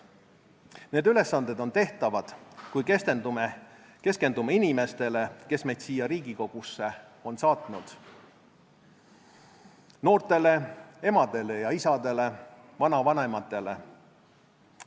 Need ülesanded on tehtavad, kui keskendume inimestele, kes meid siia Riigikogusse on saatnud – noortele, emadele ja isadele, vanavanematele.